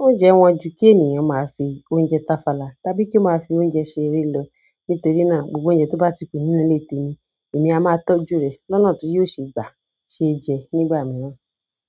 Oúnjẹ wọ́n ju kí ènìyàn máa fi oúnjẹ táfàlà tàbí kí ó máa fi oúnjẹ ṣeré lọ. Nítorí náà, gbogbo óúnjẹ tó bá ti kù nínú ilé tèmi, èmi a máa tọ́jú rè lọ́nà tí yi ò ṣe gbà ṣe jẹ nígbà mìíràn.